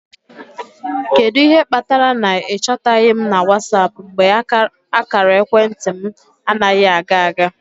Kedu ihe kpatara na ị chọtaghị m na WhatsApp mgbe ákàrà ekwentị m anaghị aga aga?